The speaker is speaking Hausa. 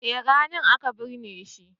eh ranan aka binne shi